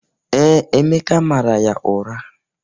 Ee, Emeka mara ya ụra.